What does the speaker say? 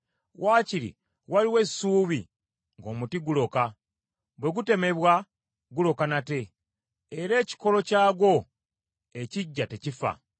“Wakiri waliwo essuubi ng’omuti guloka: Bwe gutemebwa, guloka nate, era ekikolo kyagwo ekiggya tekifa.